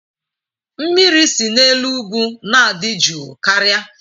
Mmiri si n'elu ugwu na-adị jụụ karịa.